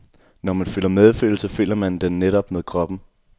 Når man føler medfølelse, føler man den netop med kroppen.